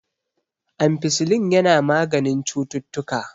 ampicillin yana maganin ctuttuka